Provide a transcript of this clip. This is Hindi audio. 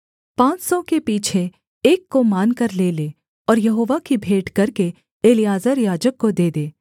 पाँच सौ के पीछे एक को मानकर ले ले और यहोवा की भेंट करके एलीआजर याजक को दे दे